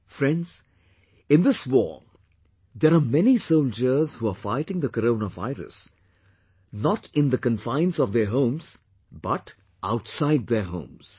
Friends, in this war, there are many soldiers who are fighting the Corona virus, not in the confines of their homes but outside their homes